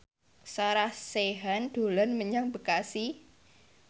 Sarah Sechan dolan menyang Bekasi